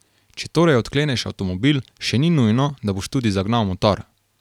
Če torej odkleneš avtomobil, še ni nujno, da boš tudi zagnal motor.